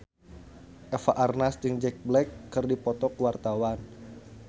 Eva Arnaz jeung Jack Black keur dipoto ku wartawan